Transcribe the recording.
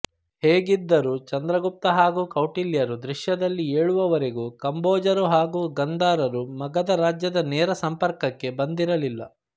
ಹೇಗಿದ್ದರೂ ಚಂದ್ರಗುಪ್ತ ಹಾಗೂ ಕೌಟಿಲ್ಯರು ದೃಶ್ಯದಲ್ಲಿ ಏಳುವವರೆಗೂ ಕಾಂಬೋಜರು ಹಾಗೂ ಗಾಂಧಾರರು ಮಗಧ ರಾಜ್ಯದ ನೇರ ಸಂಪರ್ಕಕ್ಕೆ ಬಂದಿರಲಿಲ್ಲ